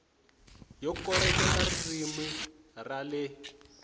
yo koreketa ririmi ra le